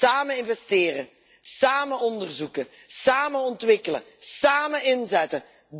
Samen investeren, samen onderzoeken, samen ontwikkelen, samen inzetten.